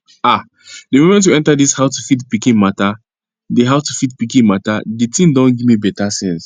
ah the moment we enter this howtofeedpikin matter d howtofeedpikin matter d thing don giv me betta sense